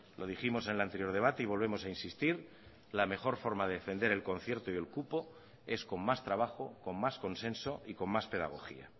lo dijimos en el anterior debate y volvemos a insistir la mejor forma de defender el concierto y el cupo es con más trabajo con más consenso y con más pedagogía